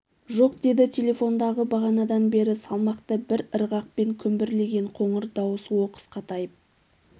жоқ деді телефондағы бағанадан бері салмақты бір ырғақпен күмбірлеген қоңыр дауыс оқыс қатайып